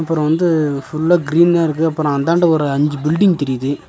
அப்றோ வந்து ஃபுல்லா கிரீனா இருக்கு அப்றோ அந்தாண்ட ஒரு அஞ்சி பீல்டிங் தெரியிது.